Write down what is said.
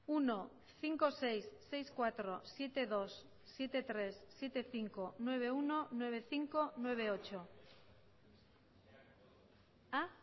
bat bost puntu sei sei puntu lau zazpi puntu bi zazpi puntu hiru zazpi puntu bost bederatzi puntu bat